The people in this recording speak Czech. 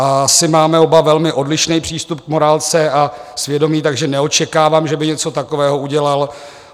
Asi máme oba velmi odlišný přístup k morálce a svědomí, takže neočekávám, že by něco takového udělal.